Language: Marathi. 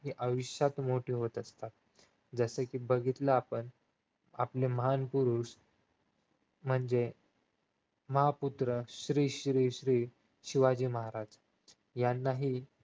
ती आयुष्यात मोठी होत असतात जस कि बघितलं आपण आपले महान पुरुष म्हणजे महापुत्र श्री श्री श्री शिवाजी महाराज यानांही